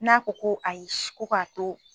N'a ko ko ayi' ko k'a to